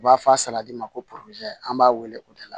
U b'a fɔ a saladi ma ko an b'a wele o de la